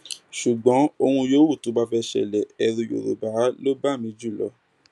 ṣùgbọn ohun yòówù tó bá fẹẹ ṣẹlẹ ẹrú yorùbá ló bá mi jù lọ